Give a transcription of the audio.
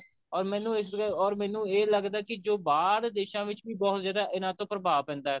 or ਮੈਨੂੰ ਇਸ or ਮੈਨੂੰ ਇਹ ਲੱਗਦਾ ਕਿ ਜੋ ਬਾਹਰਲੇ ਦੇਸ਼ਾਂ ਵਿੱਚ ਵੀ ਬਹੁਤ ਜਿਆਦਾ ਇਹਨਾ ਤੋਂ ਪ੍ਰਭਾਵ ਪੈਂਦਾ